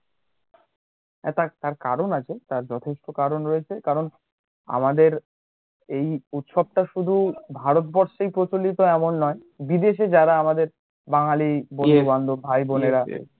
তার কারণ আছে, তার যথেষ্ট কারণ রয়েছে কারণ আামাদের এই উৎসবটা শুধু ভারতবর্ষেই প্রচলিত এমন না, বিদেশে যারা আমাদের বাঙালী বন্ধু বান্ধব ভাই বোনেরা